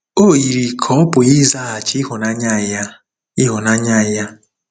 O yiri ka ọ̀ pụghị ịzaghachi ịhụnanya ya, ịhụnanya ya.